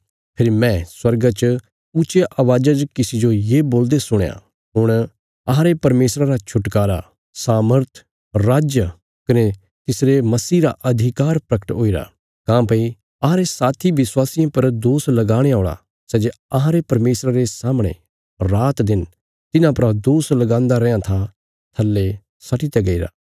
फेरी मैं स्वर्गा च ऊच्चिया अवाज़ा च किसी जो ये बोलदे सुणया हुण अहांरे परमेशर रा छुटकारा सामर्थ राज कने तिसरे मसीह रा अधिकार प्रगट हुईरा काँह्भई अहांरे साथी विश्वासियां पर दोष लगाणे औल़ा सै जे अहांरे परमेशरा रे सामणे रातदिन तिन्हां परा दोष लगान्दा रैआं था थल्ले सट्टीत्या गईरा